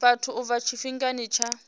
vhathu u bva tshifhingani tsha